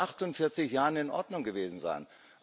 Das mag vor 48 Jahren in Ordnung gewesen sein.